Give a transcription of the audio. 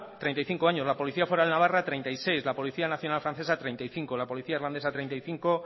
treinta y cinco años la policía foral de navarra treinta y seis la policía nacional francesa treinta y cinco la policía irlandesa treinta y cinco